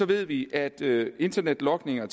ved vi at internetlogning og